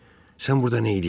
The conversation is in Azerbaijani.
Sən burda neyləyirsən?